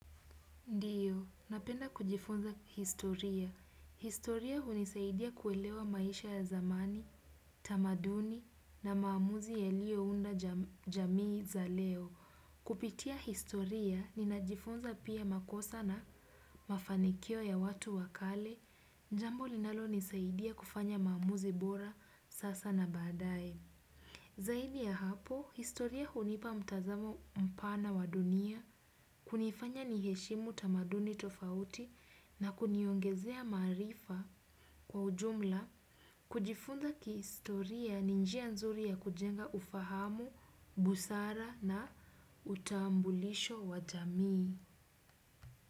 Ndio, napenda kujifunza historia. Historia hunisaidia kuelewa maisha ya zamani, tamaduni na maamuzi yaliyo unda jamii za leo. Kupitia historia, ninajifunza pia makosa na mafanikio ya watu wakale. Jambo linalo nisaidia kufanya maamuzi bora sasa na badae. Zaidi ya hapo, historia hunipa mtazamo mpana wa dunia, kunifanya niheshimu tamaduni tofauti na kuniongezea marifa kwa ujumla, kujifunza ki historia ni njia nzuri ya kujenga ufahamu, busara na utambulisho wa jamii.